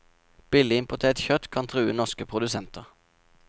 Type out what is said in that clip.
Billig importert kjøtt kan true norske produsenter.